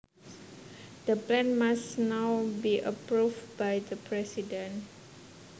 The plan must now be approved by the president